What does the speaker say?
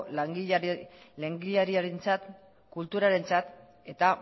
langileriarentzat kulturarentzat eta